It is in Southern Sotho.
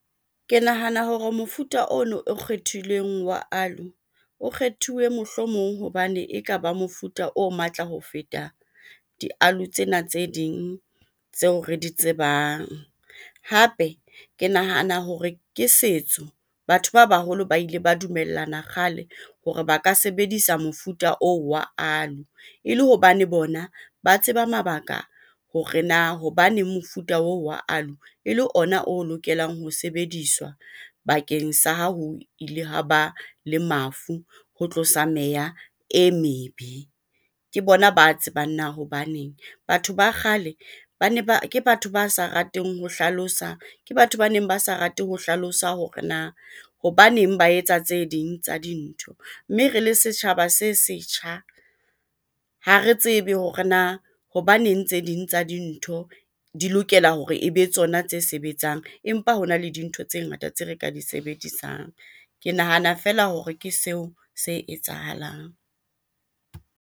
Ke nahana hore mofuta ono o kgethilweng wa Aloe, o kgethuwe mohlomong hobane ekaba mofuta o matla ho feta di-aloe tsena tse ding tseo re di tsebang, hape ke nahana hore ke setso. Batho ba baholo ba ile ba dumellana kgale hore ba ka sebedisa mofuta oo wa aloe, e le hobane bona ba tseba mabaka hore na hobaneng mofuta oo wa aloe ele ona o lokelang ho sebediswa bakeng sa ha ho ile ha ba le mafu ho tlosa meya e mebe, ke bona ba tsebang na hobaneng. Batho ba kgale ba ne ba, ke batho ba sa rateng ho hlalosa. Ke batho ba neng ba sa rate ho hlalosa hore na hobaneng ba etsa tse ding tsa dintho mme re le setjhaba se setjha. Ha re tsebe hore na hobaneng tse ding tsa dintho di lokela hore e be tsona tse sebetsang empa ho na le dintho tse ngata tse re ka di sebedisang. Ke nahana fela hore ke seo se etsahalang.